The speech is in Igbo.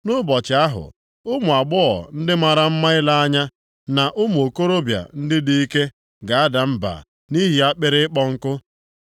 “Nʼụbọchị ahụ, “ụmụ agbọghọ ndị mara mma ile anya, na ụmụ okorobịa ndị dị ike ga-ada mba nʼihi akpịrị ịkpọ nkụ.